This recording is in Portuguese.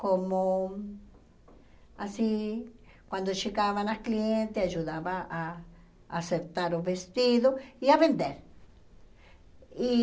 Como... Assim, quando chegavam as clientes, eu ajudava a acertar o vestido e a vender. E